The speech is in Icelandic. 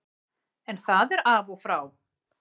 En það er af og frá.